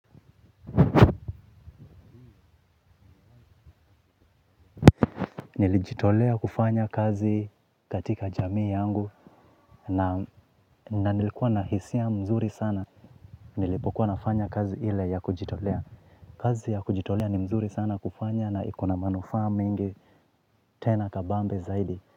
Nilijitolea kufanya kazi katika jamii yangu na nilikuwa na hisia mzuri sana. Nilipokuwa nafanya kazi hile ya kujitolea. Kazi ya kujitolea ni mzuri sana kufanya na ikona manufa mengi tena kabambe zaidi.